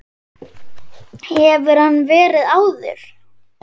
Hefur hann verið áður?